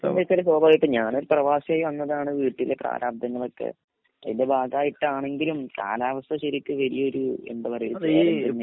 എന്താന്ന് വെച്ചാല് സ്വഭാവഗായിട്ടും ഞാനൊരു പ്രവാസി ആയി വന്നതാണ് വീട്ടില് പ്രാരാബ്‌ധങ്ങളൊക്കെ അതിന്റെ ഭാഗായിട്ടാണങ്കിലും കാലാവസ്ഥ ശെരിക് വെലിയൊരു എന്ത പറയ വലിയൊരു ചലഞ്ചഞ്ഞേണ്